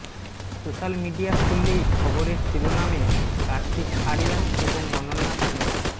social media খুললেই খবরের শিরোনামে কার্তিক আরিয়ান এবং অনন্যা পান্ডে